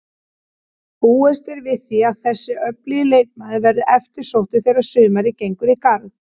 Búist er við því að þessi öflugi leikmaður verði eftirsóttur þegar sumarið gengur í garð.